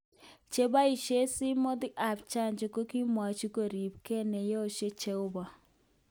Cheboishen simoti ab janja kokokimwochi koribenge neyesho jeobo.